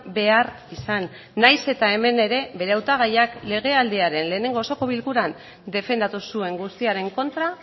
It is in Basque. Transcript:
behar izan nahiz eta hemen ere bere hautagaiak legealdiaren lehenengo osoko bilkuran defendatu zuen guztiaren kontra